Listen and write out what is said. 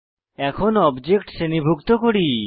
এখন অবজেক্ট শ্রেণীভুক্ত করি